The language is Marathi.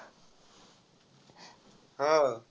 हो.